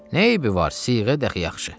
Nə eybi var, siğə də axı yaxşı.